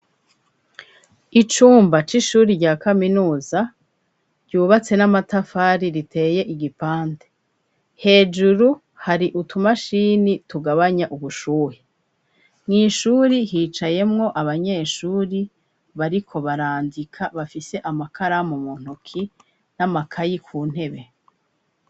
Icumba c'ishuri rya kaminuza, ryubatse n'amatafari riteye igipande, hejuru hari utumashini tugabanya ubushuhe, mw'ishuri hicayemwo abanyeshuri bariko barandika bafise amakaramu mu ntoki n'amakayi ku ntebe.